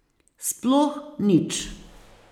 Sploh nič.